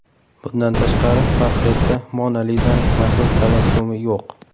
Bundan tashqari, portretda Mona Lizaning mashhur tabassumi yo‘q.